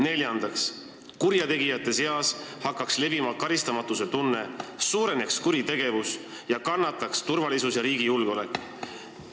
Neljandaks hakkaks kurjategijate seas levima karistamatuse tunne, suureneks kuritegevus ning kannataksid turvalisus ja riigi julgeolek.